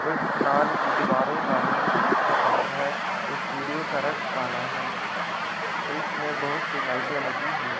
और इस माल की दीवारों का रंग सफेद है और सीढ़ियों का रंग काला है और इसमें बहुत सी लाइटें लगी है।